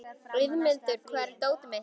Auðmundur, hvar er dótið mitt?